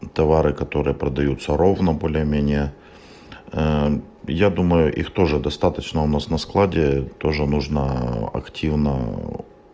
товары которые продаются ровно более-менее а я думаю их тоже достаточно у нас на складе тоже нужно активно